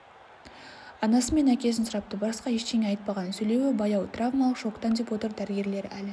анасы мен әкесін сұрапты басқа ештеңе айтпаған сөйлеуі баяу травмалық шоктан деп отыр дәрігерлер әлі